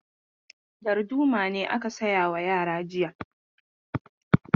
Darduma ne aka saya wa yara jiya.